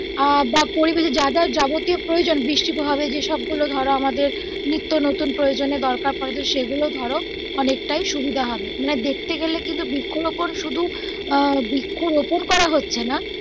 আহ বা পরিবেশের যা যা যাবতীয় প্রয়োজন বৃষ্টি তো হবে যে সব গুলো ধরো আমাদের নিত্য নতুন প্রয়োজনে দরকার পরে সেগুলো ধরো অনেক টাই সুবিধা হবে দেখতে গেলে কিন্তু বৃক্ষরোপন শুধু আহ বৃক্ষরোপন করা হচ্ছে না